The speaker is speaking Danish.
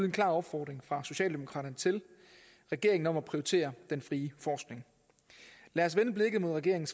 en klar opfordring fra socialdemokraterne til regeringen om at prioritere den frie forskning lad os vende blikket mod regeringens